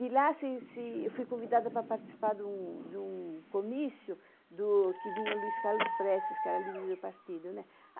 De lá, eu fui convidada para participar de um comício que vinha o Luiz Carlos Prestes, que era líder do partido.